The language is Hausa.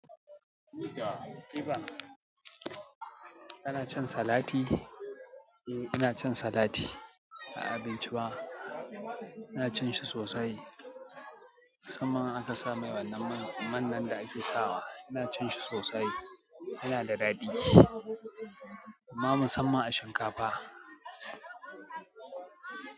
Ya ƙiba? Kanacin salati? Eh, inacin salati a abinci ba ina cinshi sosai. Musamman in aka samai wannan man- man nan da'ake sawa. Ina cinshi sosai yanada daɗi. Amma musamman a shinkafa.